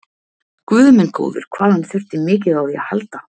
Guð minn góður, hvað hann þurfti mikið á því að halda!